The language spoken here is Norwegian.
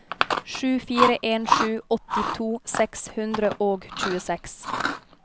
sju fire en sju åttito seks hundre og tjueseks